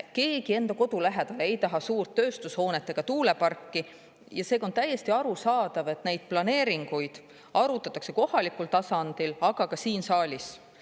Keegi enda kodu lähedale ei taha suurt tööstushoonet ega tuuleparki ja seega on täiesti arusaadav, et neid planeeringuid arutatakse kohalikul tasandil, aga ka siin saalis.